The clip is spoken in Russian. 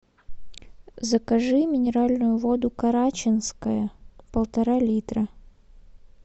закажи минеральную воду карачинская полтора литра